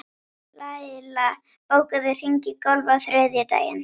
Laila, bókaðu hring í golf á þriðjudaginn.